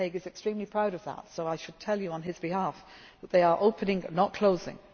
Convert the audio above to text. time. William Hague is extremely proud of that so I should tell you on his behalf that they are opening not